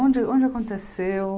Onde onde aconteceu?